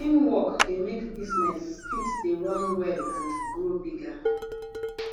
teamwork de make business fit de run well and grow bigger